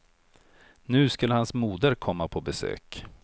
Nu skulle hans moder komma på besök.